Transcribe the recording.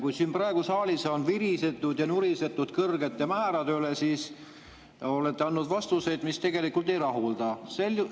Kui siin praegu saalis on virisetud ja nurisetud kõrgete määrade üle, siis olete te andnud vastuseid, mis tegelikult ei rahulda.